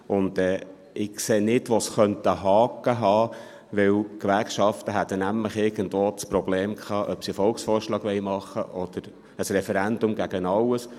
Ich sehe nicht, wo es einen Haken haben könnte, denn die Gewerkschaften hätten nämlich das Problem gehabt, ob sie einen Volksvorschlag machen wollen oder ein Referendum gegen alles.